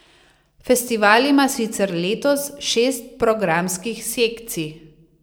Festival ima sicer letos šest programskih sekcij.